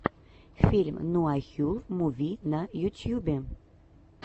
фильм нуахюл муви на ютьюбе